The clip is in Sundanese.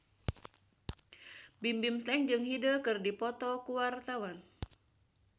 Bimbim Slank jeung Hyde keur dipoto ku wartawan